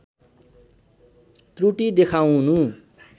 त्रुटि देखाउनु